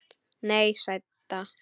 Nei, sæta.